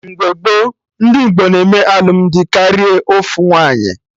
Mgbe gboo, ndị Igbo na-eme alụmdi karịa ofu nwaanyị